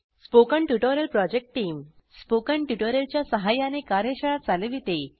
spoken tutorial project team spoken tutorial च्या सहाय्याने कार्यशाळा चालविते